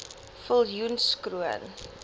viljoenskroon